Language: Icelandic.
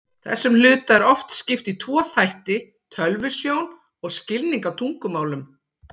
Þessum hluta er oft skipt í tvo þætti, tölvusjón og skilning á tungumálum.